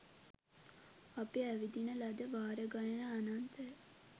අපි ඇවිදින ලද වාර ගණන අනන්තය